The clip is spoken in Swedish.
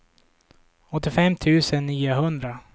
åttiofem tusen niohundra